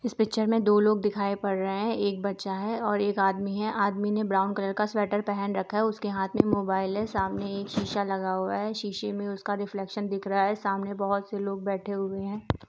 इस पिच्चर में दो लोग दिखाई पड़ रहे है। एक बच्चा है और एक आदमी है। आदमी ने ब्राउन कलर का स्वेटर पहन रखा है। उसके हाथ में मोबाइल है। सामने एक शीशा लगा हुआ है। शीशे में उसका रिफ्लेक्शन दिख रहा है। सामने बहुत से लोग बैठे हुए है।